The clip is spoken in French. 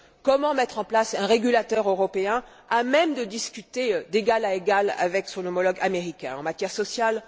comment mettre en place un régulateur européen à même de discuter d'égal à égal avec son homologue américain en matière sociale